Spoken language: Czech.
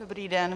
Dobrý den.